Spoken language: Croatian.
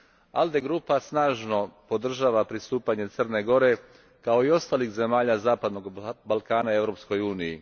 ALDE grupa snažno podržava pristupanje Crne Gore, kao i ostalih zemalja zapadnog Balkana Europskoj uniji.